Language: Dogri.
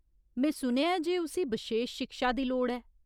में सुनेआ ऐ जे उसी बशेश शिक्षा दी लोड़ ऐ।